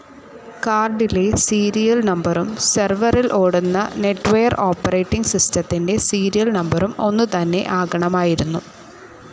കാർഡിലെ സീരിയൽ നമ്പറും സെർവറിൽ ഓടുന്ന നെറ്റ്വെയർ ഓപ്പറേറ്റിങ്‌ സിസ്റ്റത്തിന്റെ സീരിയൽ നമ്പറും ഒന്നുതന്നെ ആകണമായിരുന്നു.